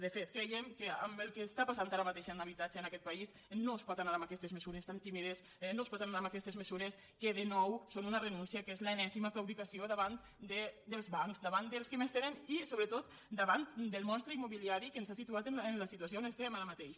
de fet creiem que amb el que està passant ara mateix en habitatge en aquest país no es pot anar amb aquestes mesures tan tímides no es pot anar amb aquestes mesures que de nou són una renúncia que és l’enèsima claudicació davant dels bancs davant dels que més tenen i sobretot davant del monstre immobiliari que ens ha situat en la situació on estem ara mateix